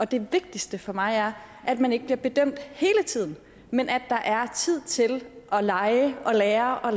det vigtigste for mig er at man ikke bliver bedømt hele tiden men at der er tid til at lege og lære og